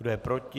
Kdo je proti?